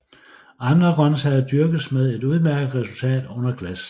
Andre grøntsager dyrkes med et udmærket resultat under glas